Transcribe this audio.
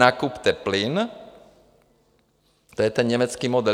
Nakupte plyn - to je ten německý model.